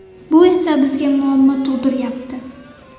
Bu esa bizga muammo tug‘diryapti.